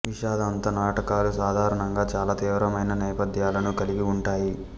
విషాదాంత నాటకాలు సాధారణంగా చాలా తీవ్రమైన నేపథ్యాలను కలిగి ఉంటాయి